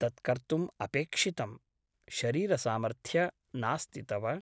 तत् कर्तुम् अपेक्षितं शरीरसामर्थ्य नास्ति तव ।